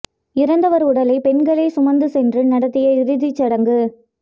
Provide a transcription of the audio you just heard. இறந்தவர் உடலை பெண்களே சுமந்து சென்று நடத்திய இறுதிச் சடங்கு